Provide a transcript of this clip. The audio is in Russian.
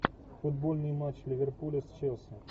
футбольный матч ливерпуля с челси